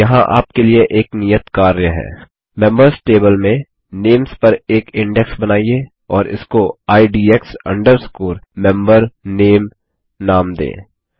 यहाँ आपके लिए एक नियत कार्य है मेंबीयर्स टेबल में नेम्स पर एक इंडेक्स बनाइए और इसको IDX MemberName नाम दें